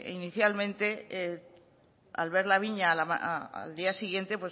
inicialmente al ver la viña al día siguiente